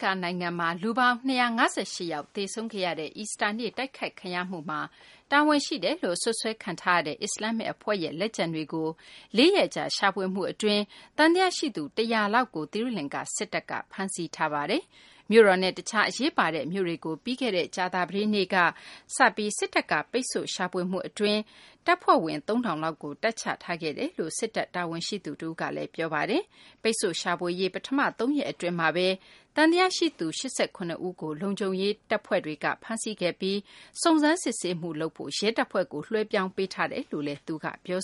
ကာၤ နိုင်ငံမှာ လူပေါင်း ၂၅၈ ယောက် သေဆုံးခဲရတဲ့ အီစတာနေ့ တိုက်ခိုက်ခံရမှုမှာ တာဝန်ရှိတယ်လို့ စွပ်စွဲခံထားရတဲ့ အစ္စလာမ္မစ် အဖွဲ့ရဲ့ လက်ကျန်တွေကို ၄ ရက်ကြာ ရှာဖွေမှု အတွင်း သံသယ ရှိသူ ၁၀၀ လောက်ကို သီရိလင်္ကာ စစ်တပ်က ဖမ်းဆီးထားပါတယ်။ မြို့တော်နဲ့ တခြား အရေးပါတဲ့ မြို့တွေကို ပြီးခဲ့တဲ့ ကြာသပတေးနေ့က စပြီး စစ်တပ်က ပိတ်ဆို့ရှာဖွေမှု အတွင်း တပ်ဖွဲ့ဝင် ၃ ထောင်လောက်ကို တပ်ချထားခဲ့ကြောင်းလည်း စစ်တပ် တာဝန်ရှိသူ တဦးက ပြောပါတယ်။ ပိတ်ဆို့ရှာဖွေရေး ပထမ ၃ ရက် အတွင်းမှာဘဲ သံသယ ရှိသူ ၈၇ ဦးကို လုံခြုံရေး တပ်ဖွဲ့တွေက ဖမ်းဆီးခဲ့ပြီး စုံစမ်းစစ်ဆေးမှု လုပ်ဖို့ ရဲတပ်ဖွဲ့ကို လွှဲပြောင်းပေးထားတယ်လို့လည်း သူက ပြော